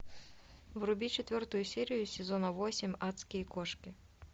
вруби четвертую серию сезона восемь адские кошки